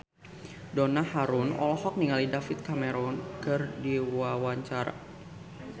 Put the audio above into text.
Donna Harun olohok ningali David Cameron keur diwawancara